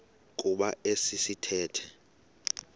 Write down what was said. kuba esi sithethe